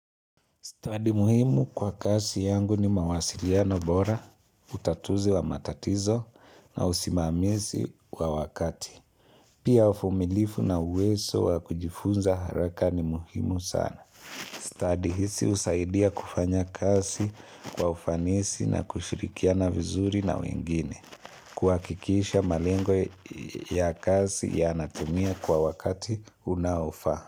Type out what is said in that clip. Study muhimu kwa kazi yangu ni mawasiliano bora, utatuzi wa matatizo na usimamizi kwa wakati. Pia uvumilivu na uwezo wa kujifunza haraka ni muhimu sana. Study hizi husaidia kufanya kazi kwa ufanisi na kushirikiana vizuri na wengine. Kuhakikisha malengo ya kazi yanatumia kwa wakati unaofa.